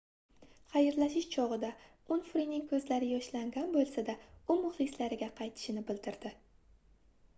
xayrlashish chogʻida unfrining koʻzlari yoshlangan boʻlsa-da u muxlislariga qaytishini bildirdi